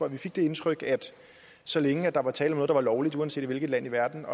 at vi fik det indtryk at så længe der var tale om noget der var lovligt uanset i hvilket land i verden